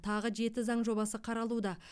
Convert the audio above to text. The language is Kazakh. тағы жеті заң жобасы қаралуда